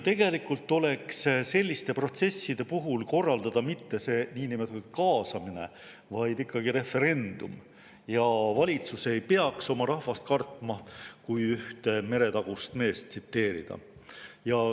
Tegelikult oleks vaja selliste protsesside puhul korraldada mitte see niinimetatud kaasamine, vaid ikkagi referendum, ja valitsus ei peaks oma rahvast kartma, kui üht meretagust meest tsiteerida.